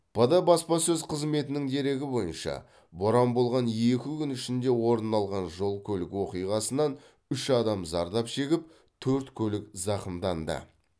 пд баспасөз қызметінің дерегі бойынша боран болған екі күн ішінде орын алған жол көлік оқиғасынан үш адам зардап шегіп төрт көлік зақымданды